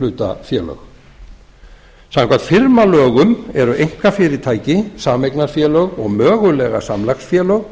einkahlutafélög samkvæmt firmalögum eru einkafyrirtæki sameignarfélög og mögulega samlagsfélög